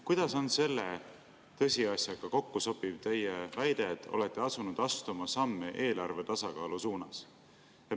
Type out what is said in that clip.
Kuidas sobib selle tõsiasjaga kokku teie väide, et olete asunud astuma samme eelarve tasakaalu suunas?